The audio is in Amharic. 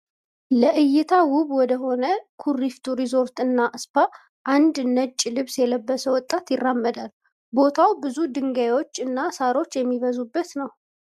ለእይታ ዉብ ወደ ሆነው ኩሪፍቱ ረዞርት እና ስፓ አንድ ነጭ ልብስ የለበሰ ወጣት ይራመዳል። ቦታው ብዙ ድንጋዮች እና ሳሮች የሚበዙበት ነው።